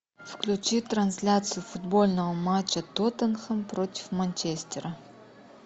включи трансляцию футбольного матча тоттенхэм против манчестера